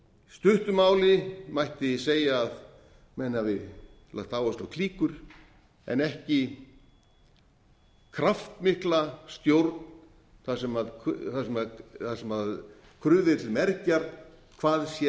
stuttu máli mætti segja að menn hafi lagt áherslu á klíkur en ekki kraftmikla stjórn þar sem krufið er til mergjar hvað sé